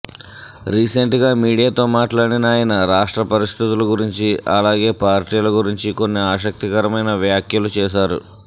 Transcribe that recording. recent గా మీడియాతో మాట్లాడిన ఆయన రాష్ట్ర పరిస్థితుల గురించి అలాగే పార్టీల గురించి కొన్ని ఆసక్తికరమైన వ్యాఖ్యలు చేశారు